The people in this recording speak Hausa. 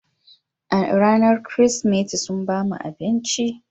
A ranar Kirsimeti, sun ba mu abinci